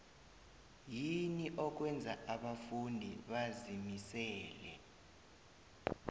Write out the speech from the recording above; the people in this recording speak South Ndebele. yini okwenza abafundi bazimisele